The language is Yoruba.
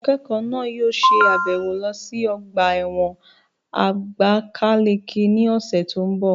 Àwọn akẹ́kọ̀ọ́ náà yóò ṣe àbẹ̀wò lọ sí ọgbà ẹ̀wọ̀n àbákáleke ní ọ̀sẹ̀ tó n bọ̀